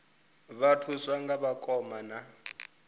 vha thuswa nga vhakoma na